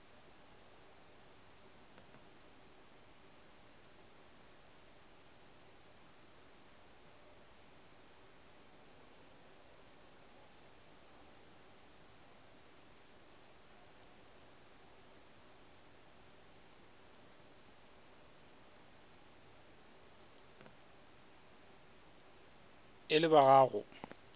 e le ba ba go